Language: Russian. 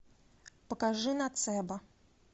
покажи ноцебо